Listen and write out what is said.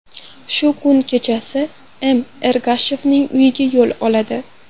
Shu kuni kechasi M. Ergashevning uyiga yo‘l oladi.